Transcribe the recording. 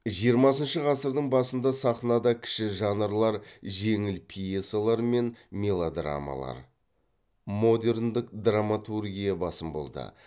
жиырмасыншы ғасырдың басында сахнада кіші жанрлар жеңіл пьесалар мен мелодрамалар модерндік драматургия басым болды